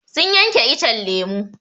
Sun yanke icen lemu.